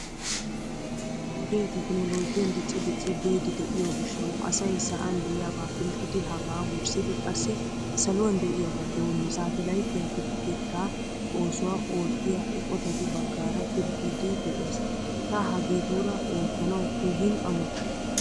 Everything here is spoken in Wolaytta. Wodee tekkinolojjiyan dicci dicci biidi de'iyo gishshawu asay sa'an de'iyaba pilggidi hegaa wurssidi qassi saluwan de'iyaba doommiis Satelayttiyaa pilggeetta oosuwaa ootiya eqqotatu baggaara pilggidi de'ees. Ta hagetura oottanawu keehin ammottays.